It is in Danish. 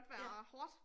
Ja